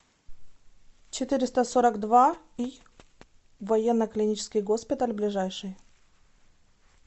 четыреста сорок два й военно клинический госпиталь ближайший